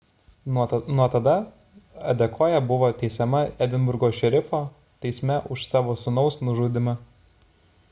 nuo tada adekoya buvo teisiama edinburgo šerifo teisme už savo sūnaus nužudymą